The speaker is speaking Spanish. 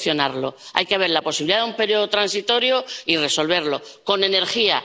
que solucionarlo. Hay que ver la posibilidad de un periodo transitorio y resolver el problema con energía.